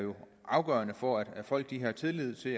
afgørende for at folk har tillid til